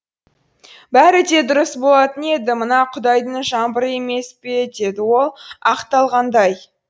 бәрі де дұрыс болатын еді мына құдайдың жаңбыры емес пе деді ол ақталғандай